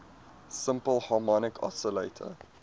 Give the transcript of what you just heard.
simple harmonic oscillator